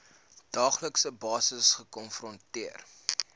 daaglikse basis gekonfronteer